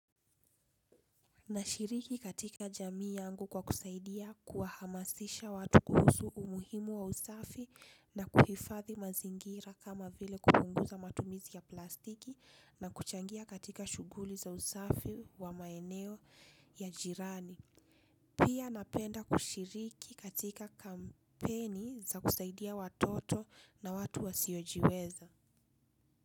Na shiriki katika jamii yangu kwa kusaidia kuhamasisha watu kuhusu umuhimu wa usafi na kuhifadhi mazingira kama vile kupunguza matumizi ya plastiki na kuchangia katika shughuli za usafi wa maeneo ya jirani. Pia napenda kushiriki katika kampeni za kusaidia watoto na watu wasiojiweza.